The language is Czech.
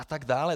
A tak dále.